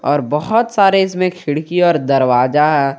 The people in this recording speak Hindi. और बहोत सारे इसमें खिड़की और दरवाजा है।